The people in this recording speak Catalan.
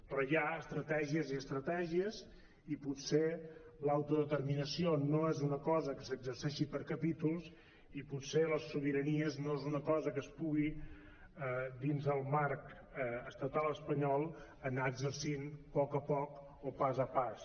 però hi ha estratègies i estratègies i potser l’autodeterminació no és una cosa que s’exerceixi per capítols i potser les sobiranies no és una cosa que es pugi dins del marc estatal espanyol anar exercint a poc a poc o pas a pas